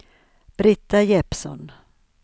Brita Jeppsson